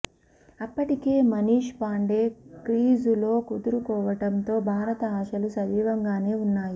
అప్పటికే మనీష్ పాండే క్రీజులో కుదురుకోవడంతో భారత ఆశలు సజీవంగానే ఉన్నాయి